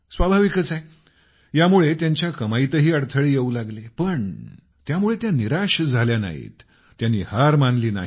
स्वाभाविकच आहे यामुळे त्यांच्या कमाईतही अडथळे येऊ लागले पण त्यामुळे त्या निराश झाल्या नाहीत त्यांनी हार मानली नाही